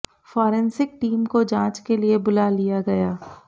forensic team को जांच के लिए बुला लिया गया